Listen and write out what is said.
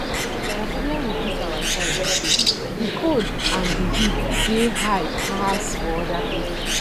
my problem with this our side be say the cold and the heat dey high pass for other places